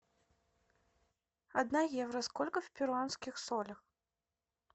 одна евро сколько в перуанских солях